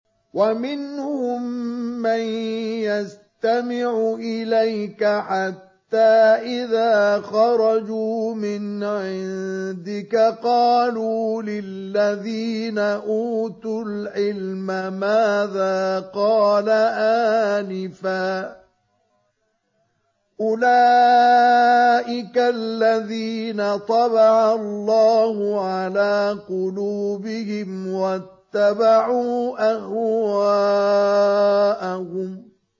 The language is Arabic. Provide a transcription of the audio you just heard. وَمِنْهُم مَّن يَسْتَمِعُ إِلَيْكَ حَتَّىٰ إِذَا خَرَجُوا مِنْ عِندِكَ قَالُوا لِلَّذِينَ أُوتُوا الْعِلْمَ مَاذَا قَالَ آنِفًا ۚ أُولَٰئِكَ الَّذِينَ طَبَعَ اللَّهُ عَلَىٰ قُلُوبِهِمْ وَاتَّبَعُوا أَهْوَاءَهُمْ